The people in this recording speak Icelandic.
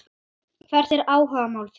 Hvert er áhugamál þitt?